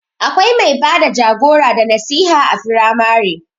Akwai mai bada jagora da nasiha a firamare